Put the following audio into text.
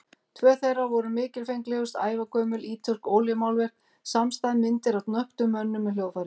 Tvö þeirra voru mikilfenglegust, ævagömul ítölsk olíumálverk samstæð, myndir af nöktum mönnum með hljóðfæri.